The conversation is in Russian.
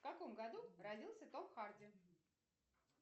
в каком году родился том харди